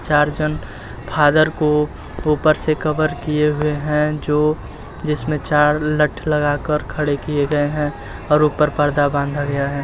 चार जन फादर को ऊपर से कवर किये हुए हैं जो जिसमें चार लठ लगाकर खड़े की गये हैं और ऊपर पर्दा बाँधा गया है।